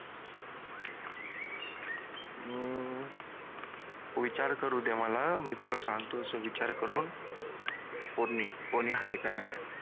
हम्म विचार करू दे मला मी तुला सांगतो विचार करून का नाहीये